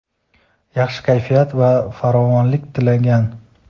yaxshi kayfiyat va farovonlik tilagan.